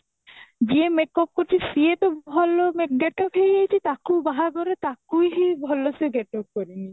ଯିଏ makeup କରୁଛି ସିଏ ତ ଭଲ ମେ get up ହେଇଯାଉଛି ତାକୁ ବାହାଘର ତାକୁ ହିଁ ଭଲ ସେ get up କରିନି